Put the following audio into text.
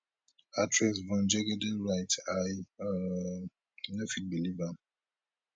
actress yvonne jegede write i um no fit believe am